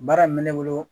Baara min bɛ ne bolo